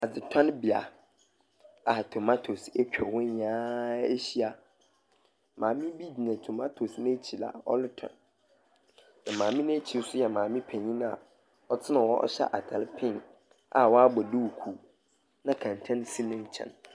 Adzetonbea a tomatoes atwa hɔ nyinaa ahyia. Maame bi gyina tomatoes n'ekyir a ɔrotɔn. Maame n'ekyir nso yɛ maame penyin a ɔtsena hɔ hyɛ atar pink a ɔabɔ duukuu, na kɛntɛn si ne nkyɛn.